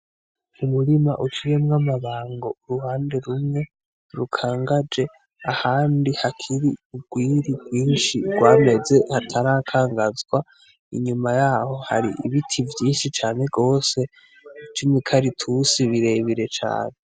Umurima uciyemwo amabango uruhande rumwe rukangaje ahandi hakiri ugwiri rwinshi rwameze hatarakangazwa inyuma yaho hari ibiti vyinshi cane gose vy'imikaratusi birebire cane